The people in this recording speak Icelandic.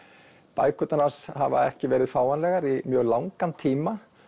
bækurnar hans hafa ekki verið fáanlegar í mjög langan tíma